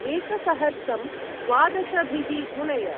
एकसहर्सं द्वादशभिः गुणय।